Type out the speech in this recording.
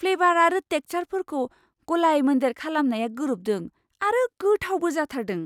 Flavour आरो टेक्सारफोरखौ गलाय मोनदेर खालामनाया गोरोबदों आरो गोथावबो जाथारदों!